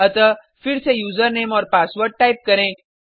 अतः फिर से यूज़रनेम और पासवर्ड टाइप करें